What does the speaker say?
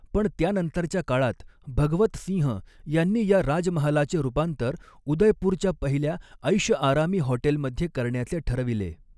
पण त्यानंतरच्या काळात भगवत सिंह यांनी या राजमहालाचे रूपांतर उदयपूरच्या पहिल्या एैषआरामी हॉटेलमध्ये करण्याचे ठरविले.